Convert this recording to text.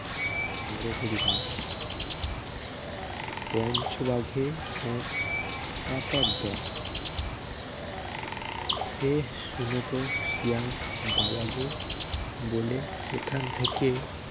নরহরি দাস পঞ্চবাঘে ওর একেক গ্রাস সে শুনে তো শিয়াল বাবা গো বলে সেখান থেকে